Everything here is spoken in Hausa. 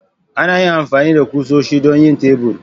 Ana amfani da kusoshi don yin tebur.